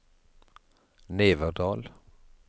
Neverdal